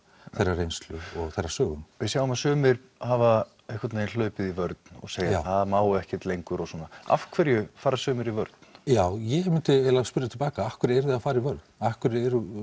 reynslu og þeirra sögum við sjáum að sumir hafa einhvern veginn hlaupið í vörn og segja það má ekkert lengur og svona af hverju fara sumir í vörn já ég myndi eiginlega spyrja til baka af hverju eruði að fara í vörn af hverju eru